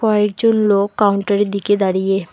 কয়েকজন লোক কাউন্টারের দিকে দাঁড়িয়ে।